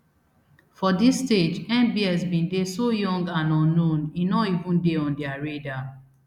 for dis stage mbs bin dey so young and unknown e no even dey on dia radar